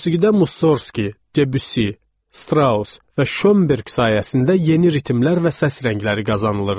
Musigidə Mussorski, Debüssi, Straus və Şönberq sayəsində yeni ritmlər və səs rəngləri qazanılırdı.